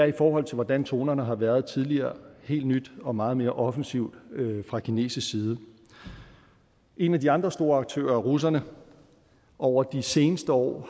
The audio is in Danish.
i forhold til hvordan tonerne har været tidligere helt nyt og meget mere offensivt fra kinesisk side en af de andre store aktører russerne har over de seneste år